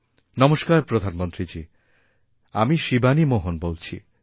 নমস্কারপ্রধানমন্ত্রীজী আমি শিবানী মোহন বলছি